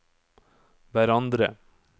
hverandre